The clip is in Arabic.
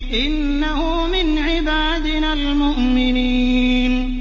إِنَّهُ مِنْ عِبَادِنَا الْمُؤْمِنِينَ